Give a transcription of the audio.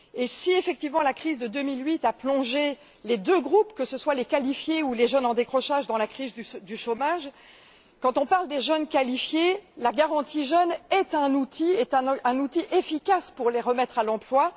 Si, effectivement, la crise de 2008 a plongé les deux groupes, que ce soit les jeunes qualifiés ou ceux en décrochage dans la crise du chômage, quand on parle des jeunes qualifiés, la garantie jeunesse est un outil efficace pour les remettre à l'emploi.